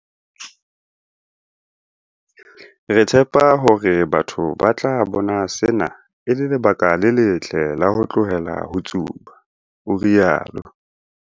Re tshepa hore batho ba tla bona sena e le lebaka le letle la ho tlohela ho tsuba, o rialo.